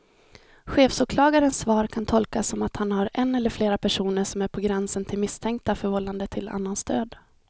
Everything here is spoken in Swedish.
Chefsåklagarens svar kan tolkas som att han har en eller flera personer som är på gränsen till misstänkta för vållande till annans död.